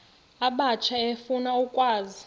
abatsha efuna ukwazi